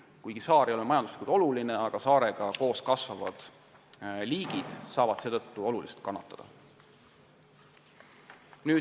Kuigi saar ise ei ole majanduslikult oluline, saavad temaga koos kasvavad liigid oluliselt kannatada.